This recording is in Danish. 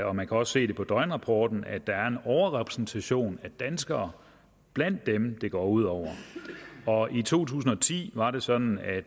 og man kan også se det på døgnrapporten at der er en overrepræsentation af danskere blandt dem det går ud over og i to tusind og ti var det sådan at